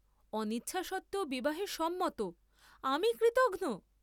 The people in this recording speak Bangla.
অনিচ্ছা সত্ত্বেও বিবাহে সম্মত; আমি কৃতঘ্ন!